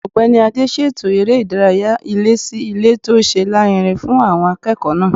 Ọ̀gbẹ́ni Adé ṣètò eré ìdárayá ilé-sí-ilé tó ṣe lárinrin fún àwọn akẹ́kọ̀ọ́ náà